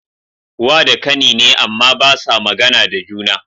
Wa da kani ne, Amma basa magAna da juna